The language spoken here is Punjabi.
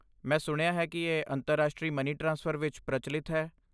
ਮੈਂ ਸੁਣਿਆ ਹੈ ਕਿ ਇਹ ਅੰਤਰਰਾਸ਼ਟਰੀ ਮਨੀ ਟ੍ਰਾਂਸਫਰ ਵਿੱਚ ਪ੍ਰਚਲਿਤ ਹੈ।